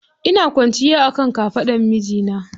Ina kwanciya akan kafaɗan mijina.